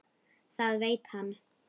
Það veit hann.